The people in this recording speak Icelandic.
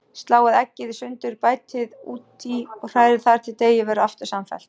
Sláið eggið sundur, bætið því út í og hrærið þar til deigið verður aftur samfellt.